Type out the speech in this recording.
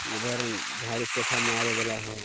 उधर झाड़ू पोछा मारे वाला हउ।